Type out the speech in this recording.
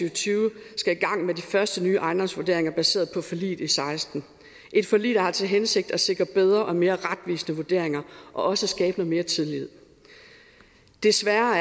og tyve skal i gang med de første nye ejendomsvurderinger baseret på forliget i seksten et forlig der har til hensigt at sikre bedre og mere retvisende vurderinger og også skabe mere tillid desværre har